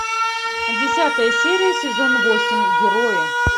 десятая серия сезон восемь герои